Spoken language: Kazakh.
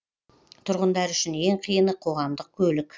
тұрғындар үшін ең қиыны қоғамдық көлік